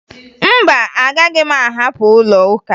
Mba, agaghị m ahapụ ụlọụka